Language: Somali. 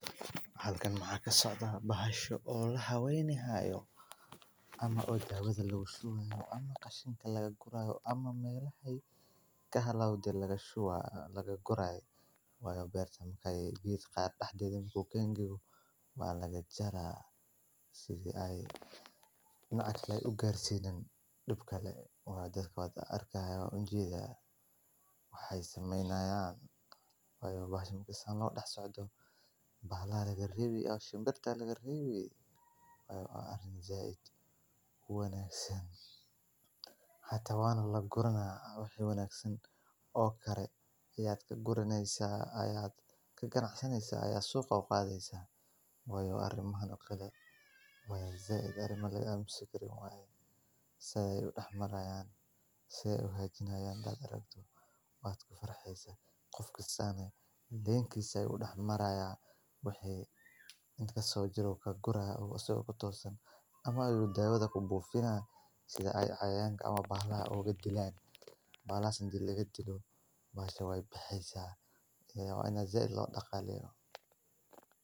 Waqtiga goosashada isbinaajka waa marxalad muhiim ah oo u baahan fiiro gaar ah si loo hubiyo tayada ugu sarraysa ee dalagga. Isbinaajka waxaa la goostaa marka caleemihiisu ay gaaraan cabbir dhexdhexaad ah oo midabkoodu yahay cagaar madow, taasoo muujinaysa biseyl buuxa iyo heerka nafaqo ee ugu fiican. Goosashada waa in la sameeyaa subaxnimadii hore ama fiidkii marka heerkulka hooseeyo, si looga fogaado yaraanta qoyaan ee caleemaha, taasoo saameyn karta cimrigooda kaydinta. Qalabka la adeegsanayo waa inuu ahaadaa mid nadiif ah oo fiiqan si aanay caleemuhu u dhaawacmin. Ka dib marka la goosto.